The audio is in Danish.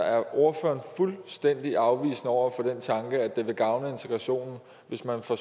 er ordføreren fuldstændig afvisende over for den tanke at det vil gavne integrationen hvis man får